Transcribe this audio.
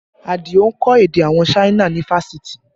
Adio ń kọ́ èdè àwọn China ni fáṣítì